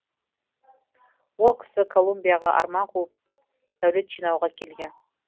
ол кісі колумбияға арман қуып дәулет жинауға келген